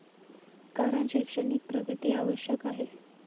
कारण शैक्षणिक प्रगती आवश्यक आहे.